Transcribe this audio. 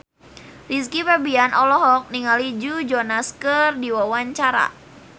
Rizky Febian olohok ningali Joe Jonas keur diwawancara